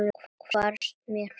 Hvarfst mér frá.